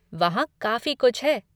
वहाँ काफ़ी कुछ है।